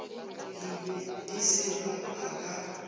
e se ba a ka